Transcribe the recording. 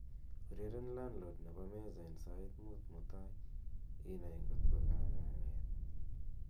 ureren landlord nebo mejja en sait muut mutai inai ng'ot ko kagan'eet